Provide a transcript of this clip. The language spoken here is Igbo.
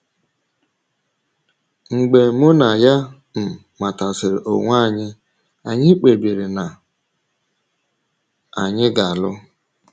Mgbe mụ na ya um matasịrị onwe anyị, anyị kpebiri na anyị ga - alụ.